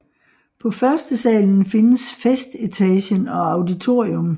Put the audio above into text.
På førstesalen findes festetagen og auditorium